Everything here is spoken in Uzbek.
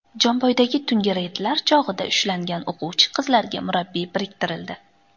Jomboydagi tungi reydlar chog‘ida ushlangan o‘quvchi qizlarga murabbiy biriktirildi.